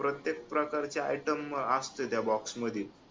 प्रत्येक प्रकारचे Item असते त्या box मध्ये